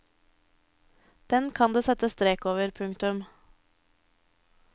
Den kan det settes strek over. punktum